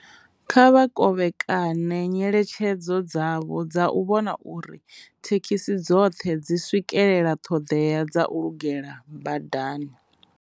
Kha vha kovhekane nyeletshedzo dzavho dza u vhona uri thekhisi dzoṱhe dzi swikelela thodea dza lugela badani.